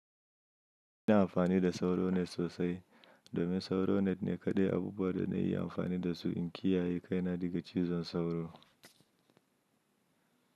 Ina amfani da SauroNet sosai domin SauroNet ne kaɗai abubuwan da na iya amfani da su in kiyaye kaina daga cizon sauro.